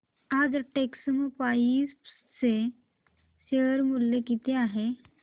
आज टेक्स्मोपाइप्स चे शेअर मूल्य किती आहे